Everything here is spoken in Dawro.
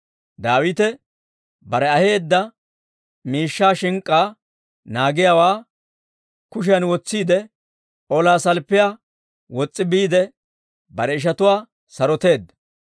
Daawite bare aheedda miishshaa shink'k'aa naagiyaawaa kushiyan wotsiide, olaa salppiyaa wos's'i biide, bare ishatuwaa saroteedda.